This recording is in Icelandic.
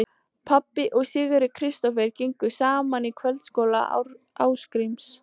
Pabbi og Sigurður Kristófer gengu saman í kvöldskóla Ásgríms